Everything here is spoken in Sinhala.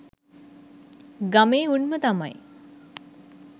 ගමේ උන්ම තමයි